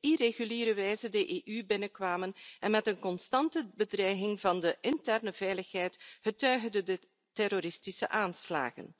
irreguliere wijze de EU binnenkwamen en met een constante bedreiging van de interne veiligheid, getuige de terroristische aanslagen.